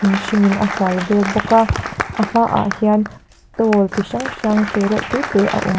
hringin a hual vel bawk a a hmaah hian stall chi hrang hrang te reuh te te a awm--